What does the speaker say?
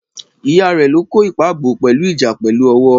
ìyá ké lo kò ipa bọ, pelu ìjà pèlú owo